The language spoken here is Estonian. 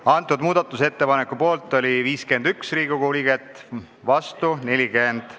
Hääletustulemused Muudatusettepaneku poolt oli 51 Riigikogu liiget, vastu 40.